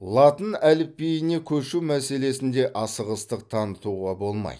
латын әліпбиіне көшу мәселесінде асығыстық танытуға болмайды